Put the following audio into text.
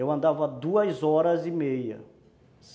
Eu andava duas horas e meia.